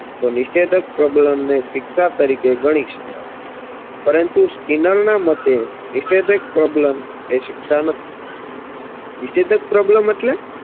તો નિષેધક પ્રબલનને શિક્ષા તરીકે ગણી શકાય પરંતુ સ્કિનરના મતે નિષેધક પ્રબલન એ શિક્ષા નથી નિષેધક પ્રબલન એટલે